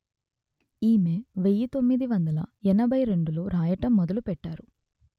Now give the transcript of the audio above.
ఈమె వెయ్యి తొమ్మిది వందలు ఎనభై రెండులో రాయటం మొదలు పెట్టారు